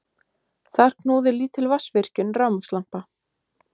Þar knúði lítil vatnsvirkjun rafmagnslampa.